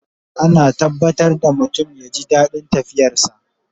Ana tabbatar da mutum ya ji daɗin tafiyar sa